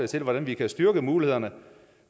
til hvordan vi kan styrke mulighederne